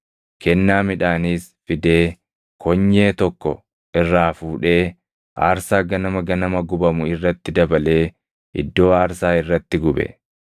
Kennaa midhaaniis fidee konyee tokko irraa fuudhee aarsaa ganama ganama gubamu irratti dabalee iddoo aarsaa irratti gube.